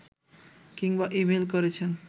কিংবা ই-মেইল করেছেন